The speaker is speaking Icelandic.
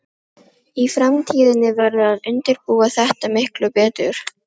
Viðtölin voru hálfopin og tekin upp á segulband.